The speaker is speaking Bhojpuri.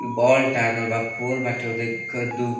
बोल टाँगल बा पॉल बाटे इधर घ दु --